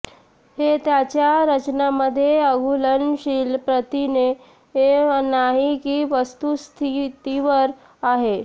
हे त्याच्या रचना मध्ये अघुलनशील प्रथिने नाही की वस्तुस्थितीवर आहे